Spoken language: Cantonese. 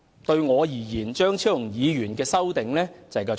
對我而言，張議員的修正案就是"廠"。